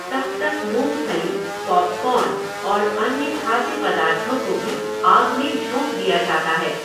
तब तक मूंगफली, पॉपकॉर्न और अन्य खाद्य पदार्थों को भी आग में झोंक दिया जाता है।